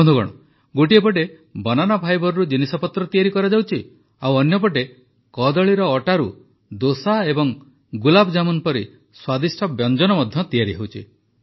ବନ୍ଧୁଗଣ ଗୋଟିଏ ପଟେ ବାନାନା ଫାଇବରରୁ ଜିନିଷପତ୍ର ତିଆରି କରାଯାଉଛି ଅନ୍ୟପଟେ କଦଳୀର ଅଟାରୁ ଦୋସା ଓ ଗୁଲାବଜାମୁନ ପରି ସ୍ୱାଦିଷ୍ଟ ବ୍ୟଞ୍ଜନ ମଧ୍ୟ ତିଆରି ହେଉଛି